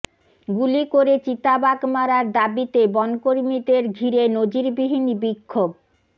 গুলি করে চিতাবাঘ মারার দাবিতে বনকর্মীদের ঘিরে নজিরবিহীন বিক্ষোভ